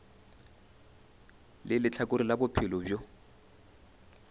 le lehlakore la bophelo bjo